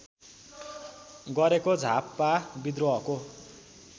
गरेको झापा व्रिद्रोहको